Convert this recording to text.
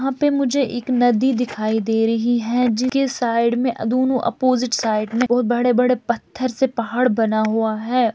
यहाँ पर मुझे एक नदी दिखाई दे रही है जिसके साइड में दोनों ऑपोजिट साइड में और बड़े-बड़े पत्थर से पहाड़ बना हुआ है।